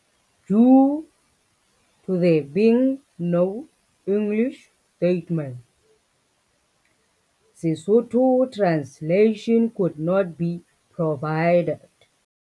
Due to there being no English statement Sesotho translation could not be provided